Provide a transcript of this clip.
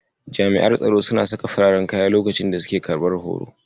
Jami'an tsaro suna saka fararen kaya lokacin da suke karɓar horo.